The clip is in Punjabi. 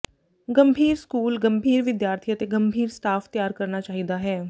ਗੰਭੀਰ ਸਕੂਲ ਗੰਭੀਰ ਵਿਦਿਆਰਥੀ ਅਤੇ ਗੰਭੀਰ ਸਟਾਫ ਤਿਆਰ ਕਰਨਾ ਚਾਹੀਦਾ ਹੈ